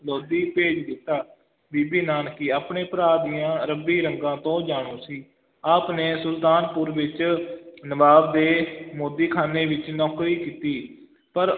ਲੋਧੀ ਭੇਜ ਦਿੱਤਾ, ਬੀਬੀ ਨਾਨਕੀ ਆਪਣੇ ਭਰਾ ਦੀਆਂ ਰੱਬੀ ਰੰਗਾਂ ਤੋਂ ਜਾਣੂ ਸੀ, ਆਪ ਨੇ ਸੁਲਤਾਨਪੁਰ ਵਿੱਚ ਨਵਾਬ ਦੇ ਮੋਦੀਖਾਨੇ ਵਿੱਚ ਨੌਕਰੀ ਕੀਤੀ, ਪਰ